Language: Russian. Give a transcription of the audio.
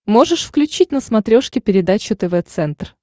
можешь включить на смотрешке передачу тв центр